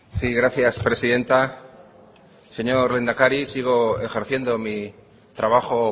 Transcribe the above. sí gracias presidenta señor lehendakari sigo ejerciendo mi trabajo